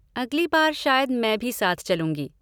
अगली बार शायद मैं भी साथ चलूँगी।